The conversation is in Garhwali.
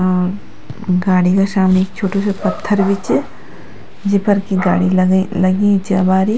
और गाड़ी का सामने एक छोटू सी पत्थर भी च जेफ़र की गाड़ी लगे लगी च अबारी।